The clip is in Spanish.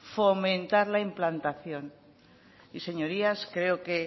fomentar la implantación y señorías creo que